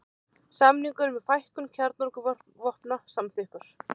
Samningur um fækkun kjarnorkuvopna samþykktur